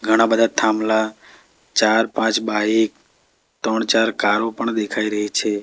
ઘણા બધા થાંભલા ચાર પાંચ બાઇક ત્રણ ચાર કારો પણ દેખાય રહી છે.